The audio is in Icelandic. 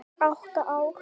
Átta ár.